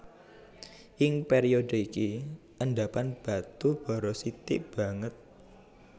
Ing période iki endhapan batu bara sithik banget